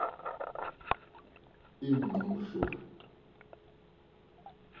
ingqushwa